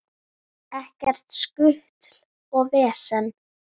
Ekkert skutl og vesen.